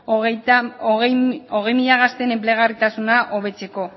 hogei mila gazteen enplegarritasuna hobetzeko